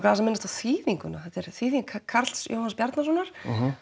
aðeins að minnast á þýðinguna þetta er þýðing Karls Jóhanns Bjarnasonar